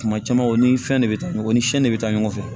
Kuma caman o ni fɛn de bɛ taa ɲɔgɔn ni de bɛ taa ɲɔgɔn fɛ